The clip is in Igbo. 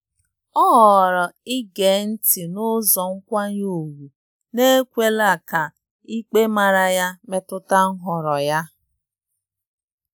O họọrọ ige họọrọ ige ntị n'ụzọ nkwanye ùgwù n'ekwela ka ikpe mara ya metụta nhọrọ ya.